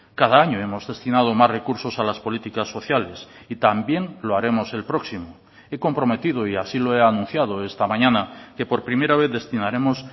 cada año hemos destinado más recursos a las políticas sociales y también lo haremos el próximo he comprometido y así lo he anunciado esta mañana que por primera vez destinaremos